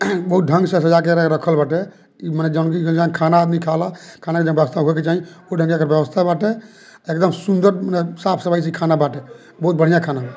बहुत ढ़ंग से सजा के एकरा के रखल बाटे माने जंगली जंजाल खाना आदमी खाला। खाना एकदम कर के जाईं। व्यवस्था बाटे। अ एकदम सुन्दर साफ-सफाई से खाना बाटे बहुत बढ़िया खाना बा।